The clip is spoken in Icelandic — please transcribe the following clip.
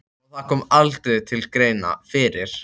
Og það kom aldrei til greina fyrir